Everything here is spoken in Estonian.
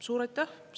Suur aitäh!